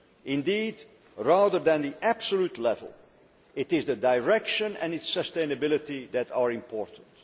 Indeed, rather than the absolute level, it is the direction and its sustainability that are important.